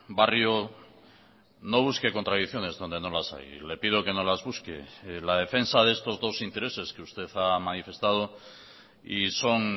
barrio no busque contradicciones donde no las hay le pido que no las busque la defensa de estos dos intereses que usted ha manifestado y son